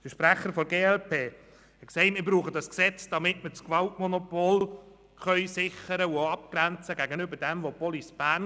Der Sprecher der glp sagte, wir bräuchten das Gesetz zur Sicherung des Gewaltmonopols und zur Abgrenzung der Befugnisse gegenüber den Kompetenzen der Police Bern.